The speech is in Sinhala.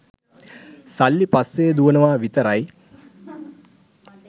සල්ලි පස්සේ දුවනවා විතරයි